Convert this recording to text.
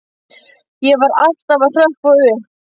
Ég var alltaf að hrökkva upp.